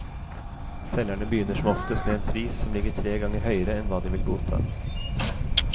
Selgerne begynner som oftest med en pris som ligger tre ganger høyere enn hva de vil godta.